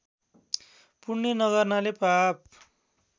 पुण्य नगर्नाले पाप